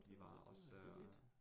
Nåh det var billigt